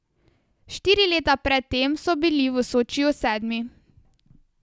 Štiri leta pred tem so bili v Sočiju sedmi.